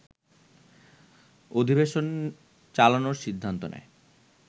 অধিবেশন চালানোর সিদ্ধান্ত নেয়